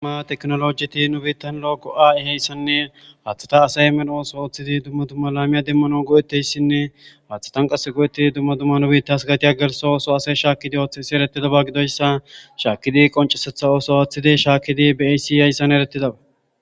Daa teknolojeti nu biittan loo go'aa'iheyssanne paathata asay meno ooso ooththidi dumma dumma laamiya demmano go'etteyssinne paathatan qas go'etti dumma dumma nu biittas gatiya gelso ooso ase shaakkidi ooththesi erettidaba gidoyssa shaakidi qoncesetha ooso aaththidi shaakidi be'asi hayssan eretidaba.